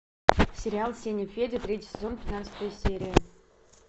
сериал сеня федя третий сезон пятнадцатая серия